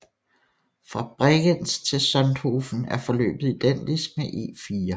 Fra Bregenz til Sonthofen er forløbet identisk med E4